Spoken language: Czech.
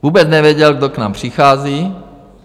Vůbec nevěděl, kdo k nám přichází.